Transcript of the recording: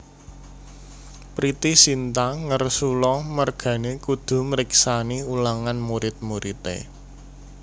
Pretty Sinta ngersula mergane kudu mriksani ulangan murid muride